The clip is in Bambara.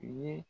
U ye